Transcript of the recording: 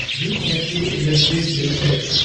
V S T industries limited